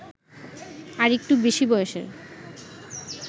আরেকটু বেশি বয়সের